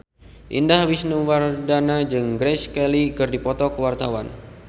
Indah Wisnuwardana jeung Grace Kelly keur dipoto ku wartawan